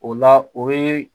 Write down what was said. O la o ye